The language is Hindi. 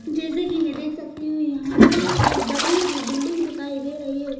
जैसे कि मैं देख सकती हूँ यहाँ पे एक बड़ी-सी बिल्डिंग दिखाई दे रही है।